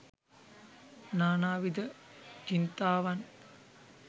නා නා විද චින්තාවන්,